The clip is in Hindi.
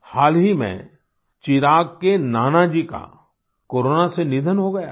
हाल ही में चिराग के नाना जी का कोरोना से निधन हो गया था